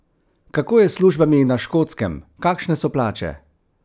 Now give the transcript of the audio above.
Kako je s službami na Škotskem, kakšne so plače?